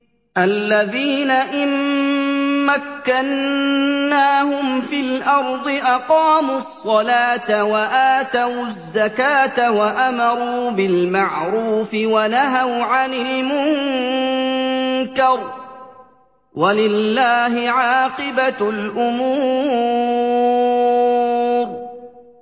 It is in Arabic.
الَّذِينَ إِن مَّكَّنَّاهُمْ فِي الْأَرْضِ أَقَامُوا الصَّلَاةَ وَآتَوُا الزَّكَاةَ وَأَمَرُوا بِالْمَعْرُوفِ وَنَهَوْا عَنِ الْمُنكَرِ ۗ وَلِلَّهِ عَاقِبَةُ الْأُمُورِ